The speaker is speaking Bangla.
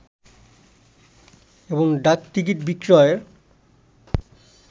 এবং ডাকটিকিট বিক্রয়ের